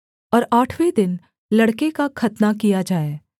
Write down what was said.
और आठवें दिन लड़के का खतना किया जाए